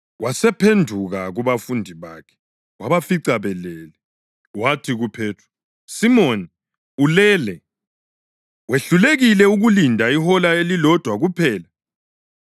Wasephenduka kubafundi bakhe wabafica belele. Wathi kuPhethro, “Simoni, ulele? Wehlulekile ukulinda ihola elilodwa kuphela?